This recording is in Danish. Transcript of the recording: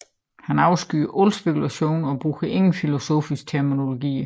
Han afskyer al spekulation og bruger ingen filosofiske terminologier